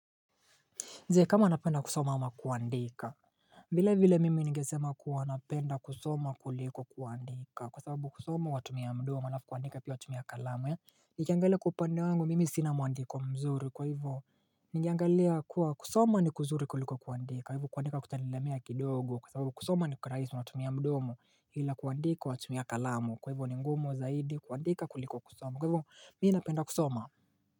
Je, kama anapenda kusoma ama kuandika? Vile vile mimi ningesema kuwa napenda kusoma kuliko kuandika. Kwa sababu kusoma watumia mdomo alafu kuandika pia watumia kalamu. Nikiangalia kwa upande wangu, mimi sina muandiko mzuri kwa hivo. Nikiangalia kuwa kusoma ni kuzuri kuliko kuandika. Hivo kuandika kutanilemea kidogo kwa sababu kusoma ni rahisi watumia mdomo. Ila kuandika watumia kalamu. Kwa hivo ni ngumu zaidi kuandika kuliko kusoma kwa hivo, mimi napenda kusoma.